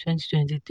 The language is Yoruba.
twenty twenty three.